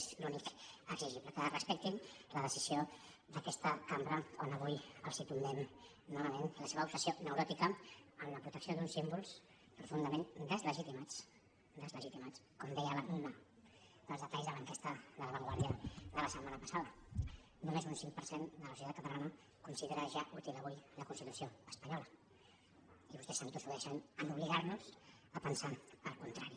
és l’únic exigible que respectin la decisió d’aquesta cambra quan avui els tombem novament la seva obsessió neuròtica en la protecció d’uns símbols profundament deslegitimats deslegitimats com deia un dels detalls de l’enquesta de la vanguardia de la setmana passada només un cinc per cent de la societat catalana considera ja útil avui la constitució espanyola i vostès s’entossudeixen a obligar nos a pensar el contrari